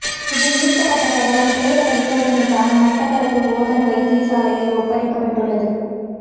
இதில் மீட்கப்பட்ட சடலம் பிரேத பரிசோதனைக்காக மட்டக்களப்பு போதனா வைத்தியசாலையில் ஒப்படைக்கப்பட்டுள்ளது